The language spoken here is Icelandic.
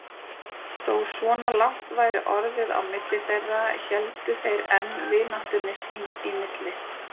Þó svona langt væri orðið á milli þeirra héldu þeir enn vináttunni sín í milli.